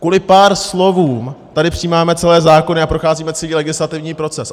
Kvůli pár slovům tady přijímáme celé zákony a procházíme celý legislativní proces.